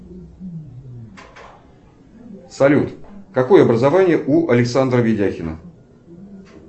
салют какое образование у александра видяхина